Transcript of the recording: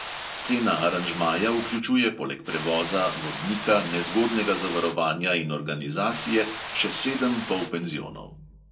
Cena aranžmaja vključuje poleg prevoza, vodnika, nezgodnega zavarovanja in organizacije še sedem polpenzionov.